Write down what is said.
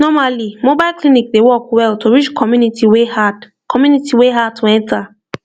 normally mobile clinic dey work well to reach community wey hard community wey hard to enter